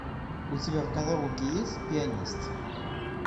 у тебя в каталоге есть пианист